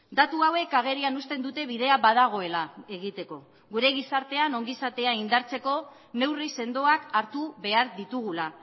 datu hauek agerian uzten dute bidea badagoela egiteko gure gizartean ongizatea indartzeko neurri sendoak hartu behar ditugula